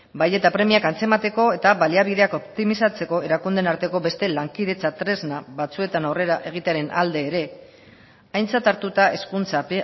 bai eta premiak antzemateko eta baliabideak optimizatzeko erakundeen arteko beste lankidetza tresna batzuetan aurrera egitearen alde ere aintzat hartuta hezkuntza